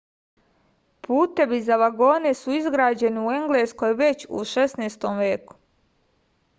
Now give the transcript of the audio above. putevi za vagone su izgrađeni u engleskoj već u 16. veku